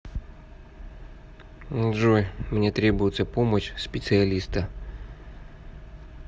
джой мне требуется помощь специалиста